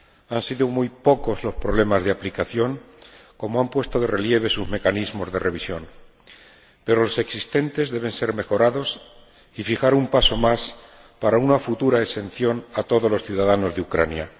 Han sido muy pocos los problemas de aplicación, como han puesto de relieve sus mecanismos de revisión, pero los existentes deben ser mejorados y hay que dar un paso más para una futura exención de todos los ciudadanos de Ucrania.